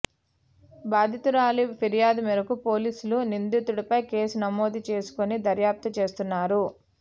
బాధితురాలి ఫిర్యాదు మేరకు పోలీసులు నిందితుడిపై కేసు నమోాదు చేసుకొని దర్యాప్తు చేస్తున్నారు